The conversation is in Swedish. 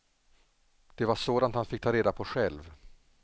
Det var sådant han fick ta reda på själv.